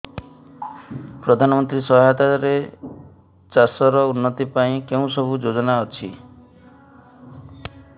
ପ୍ରଧାନମନ୍ତ୍ରୀ ସହାୟତା ରେ ଚାଷ ର ଉନ୍ନତି ପାଇଁ କେଉଁ ସବୁ ଯୋଜନା ଅଛି